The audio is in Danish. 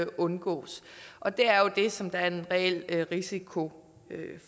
undgås og det er jo det som der er en reel risiko